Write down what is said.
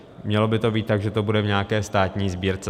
Mělo by to být tak, že to bude v nějaké státní sbírce.